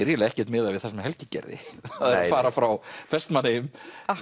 eiginlega ekkert miðað við það sem Helgi gerði að fara frá Vestmannaeyjum